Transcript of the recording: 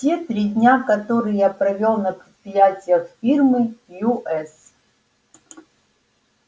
те три дня которые я провёл на предприятиях фирмы ю с